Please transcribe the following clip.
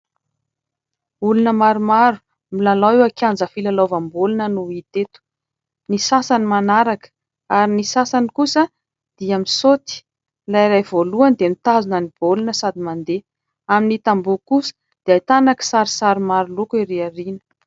Olona maromaro milalao eo an-kianja filalaovam-baolina no hita eto, ny sasany manaraka ary ny sasany kosa dia misaoty. Ilay iray voalohany dia mitazona ny baolina sady mandeha amin'ny tamboho dia ahitana kisarisary maroloko erỳ ao aoriana.